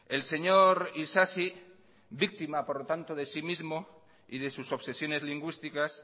el señor isasi víctima por lo tanto de sí mismo y de sus obsesiones lingüísticas